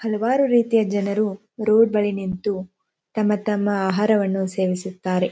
ಹಲವಾರು ರೀತಿಯ ಜನರು ಉರುವುಗಳಲ್ಲಿ ನಿಂತು ತಮ್ಮ ತಮ್ಮ ಆಹಾರವನ್ನು ಸೇವಿಸುತ್ತಾರೆ.